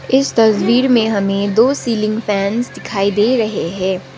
इस तस्वीर में हमें दो सीलिंग फैन्स दिखाइ दे रहें हैं।